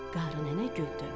Qarı nənə güldü.